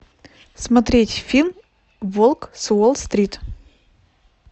смотреть фильм волк с уолл стрит